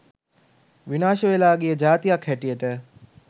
විනාශ වෙලා ගිය ජාතියක් හැටියට